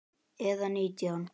Eða nítján?